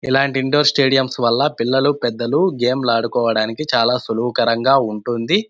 ఇలాంటి indoor stadiums వాళ్ళ పిల్లలు పెద్దలు గేమ్ లు ఆడుకోడానికి చాల సులువు కరం గ ఉంటుంది.